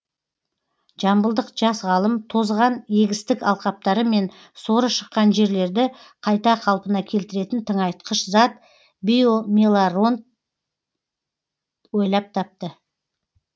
жамбылдық жас ғалым тозған егістік алқаптары мен соры шыққан жерлерді қайта қалпына келтіретін тыңайтқыш зат биомелорант ойлап тапты